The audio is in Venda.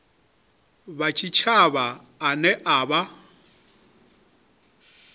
wa tshitshavha ane a vha